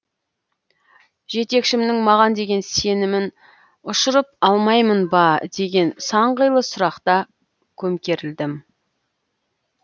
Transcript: жетекшімнің маған деген сенімін ұшырып алмаймын ба деген сан қилы сұрақта көмкерілдім